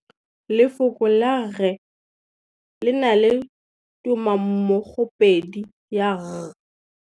Lefoko la rre le na le tumammogôpedi ya, r.